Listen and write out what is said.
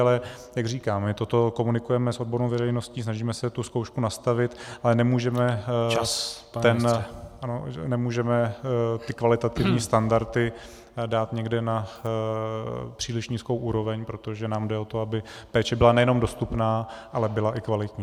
Ale jak říkám, my toto komunikujeme s odbornou veřejností, snažíme se tu zkoušku nastavit , ale nemůžeme ty kvalitativní standardy dát někde na příliš nízkou úroveň, protože nám jde o to, aby péče byla nejenom dostupná, ale byla i kvalitní.